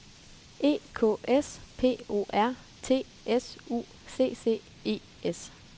E K S P O R T S U C C E S